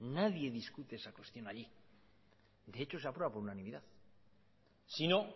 nadie discute esa cuestión allí de hecho se aprueba por unanimidad si no